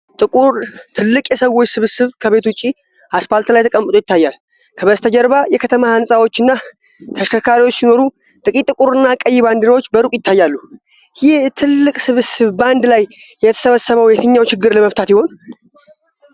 ትልቅ የሰዎች ስብስብ ከቤት ውጭ አስፋልት ላይ ተቀምጦ ይታያል። ከበስተጀርባ የከተማ ህንጻዎችና ተሽከርካሪዎች ሲኖሩ፣ ጥቂት ጥቁርና ቀይ ባንዲራዎች በሩቅ ይታያሉ። ይህ ትልቅ ስብስብ በአንድ ላይ የተሰበሰበው የትኛውን ችግር ለመፍታት ይሆን?